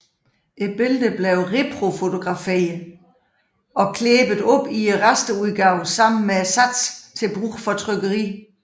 Billeder blev reprofotograferet og klæbet op i rasterudgave sammen med satsen til brug for trykkeriet